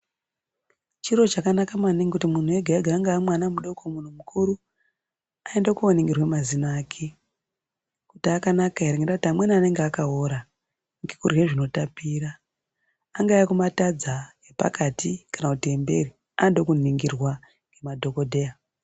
Chiro chakanaka maningi kuti munhu ega ega angawa mwana mudoko kana munhu mukuru aende koningirwa mazino ake kuti akanaka here nekuti amweni anenge akaora nekudhle zvinotapira, angawe ekumatadza , epakati kana kuti emberi anode kuningirwa nemadhokodheya .